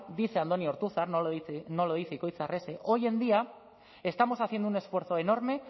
dice andoni ortuzar no lo dice ikoitz arrese hoy en día estamos haciendo un esfuerzo enorme